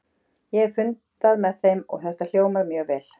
Ég hef fundað með þeim og þetta hljómar mjög vel.